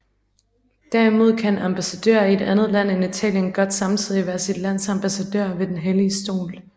Derimod kan en ambassadør i et andet land end Italien godt samtidig være sit lands ambassadør ved Den Hellige Stol